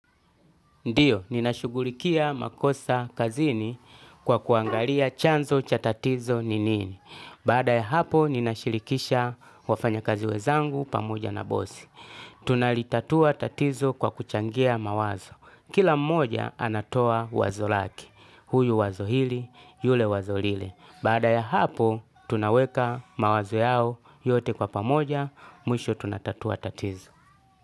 Ndiyo, ninashugulikia makosa kazini kwa kuangalia chanzo cha tatizo ni nini. Baada ya hapo, ninashirikisha wafanya kazi wezangu pamoja na bosi. Tunalitatua tatizo kwa kuchangia mawazo. Kila mmoja anatoa wazo lake, huyu wazo hili, yule wazo lile. Baada ya hapo, tunaweka mawazo yao yote kwa pamoja, mwisho tunatatua tatizo.